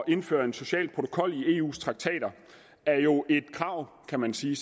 indføre en social protokol i eus traktater er jo et krav kan man sige